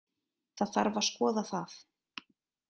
Það þarf að skoða það